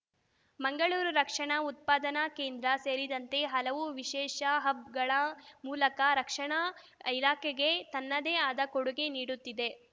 ಮಂಗಳೂರು ರಕ್ಷಣಾ ಉತ್ಪಾದನಾ ಕೇಂದ್ರ ಸೇರಿದಂತೆ ಹಲವು ವಿಶೇಷ ಹಬ್‌ ಗಳ ಮೂಲಕ ರಕ್ಷಣಾ ಇಲಾಖೆಗೆ ತನ್ನದೇ ಆದ ಕೊಡುಗೆ ನೀಡುತ್ತಿದೆ